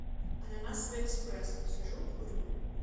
ананасовый экспресс сижу курю